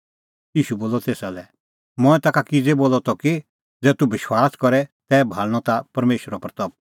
ईशू बोलअ तेसा लै मंऐं ताखा किज़ै बोलअ त कि ज़ै तूह विश्वास करे तै भाल़णीं ताह परमेशरे महिमां